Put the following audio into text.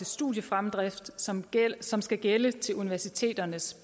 studiefremdrift som som skal gælde til universiteternes